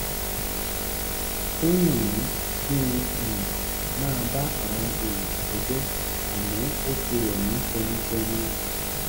ó wù mí kí n um máa bá àwọn èèyàn kẹ́gbẹ́ àmọ́ ó ti rẹ̀ mí tẹnutẹnu um